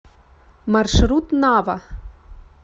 маршрут нава